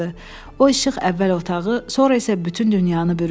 O işıq əvvəl otağı, sonra isə bütün dünyanı bürüdü.